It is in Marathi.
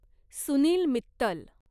सुनील मित्तल